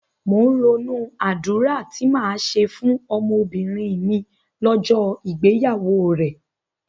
Mò ń ronú àdúrà tí màá ṣe fún ọmọbìnrin mi lọ́jọ́ ìgbéyàwó rẹ̀.